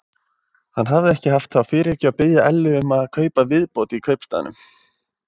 Hann hafði ekki haft þá fyrirhyggju að biðja Ellu um að kaupa viðbót í kaupstaðnum.